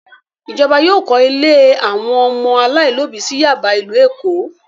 Ìjọba yóò kọ́ ilé àwọn ọmọ aláìlóòbí sí Yáàbá, ìlú Èkó!